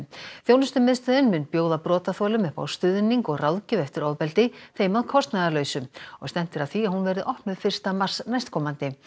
þjónustumiðstöðin mun bjóða brotaþolum upp á stuðning og ráðgjöf eftir ofbeldi þeim að kostnaðarlausu og stefnt er að því að hún verði opnuð fyrsta mars næstkomandi